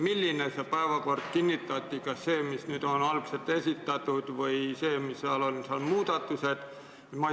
Milline päevakord kinnitati: kas see, mis algselt esitati, või see, millesse tehti muudatused?